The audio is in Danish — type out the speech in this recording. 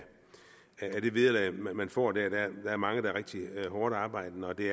det vederlag man får der der er mange der er rigtig hårdtarbejdende og det